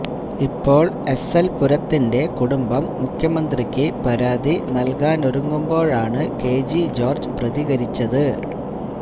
ഇപ്പോൾ S L പുരത്തിൻ്റെ കുടുംബം മുഖ്യമന്ത്രിക്ക് പരാതി നൽകാനൊരുങ്ങുമ്പോഴാണു കെ ജി ജോർജ് പ്രതികരിച്ചത്